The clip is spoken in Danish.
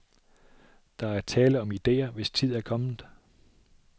Der er tale om idéer, hvis tid er kommet.